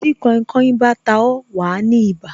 Tí kainkain bá ta ó, wa ní ibà